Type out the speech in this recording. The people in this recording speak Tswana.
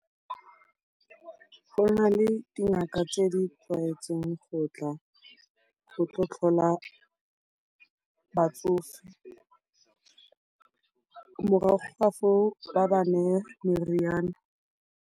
Go na le dingaka tse di tlwaetseng go tla, go tla go tlhola batsofe, morago ga foo ba ba neye meriana.